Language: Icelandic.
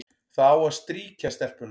Það á að strýkja stelpuna,